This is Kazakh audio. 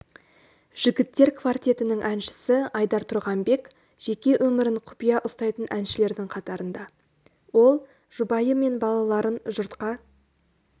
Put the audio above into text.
жігіттер квартетінің әншісі айдар тұрғанбек жеке өмірін құпия ұстайтын әншілердің қатарында ол жұбайы мен балаларын жұртқа